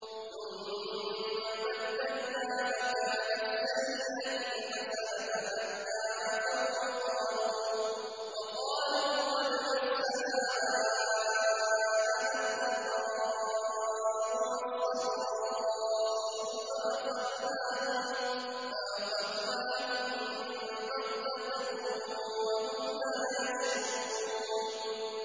ثُمَّ بَدَّلْنَا مَكَانَ السَّيِّئَةِ الْحَسَنَةَ حَتَّىٰ عَفَوا وَّقَالُوا قَدْ مَسَّ آبَاءَنَا الضَّرَّاءُ وَالسَّرَّاءُ فَأَخَذْنَاهُم بَغْتَةً وَهُمْ لَا يَشْعُرُونَ